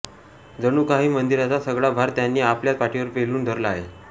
जणूकाही मंदिराचा सगळा भार त्यांनी आपल्याच पाठीवर पेलून धरला आहे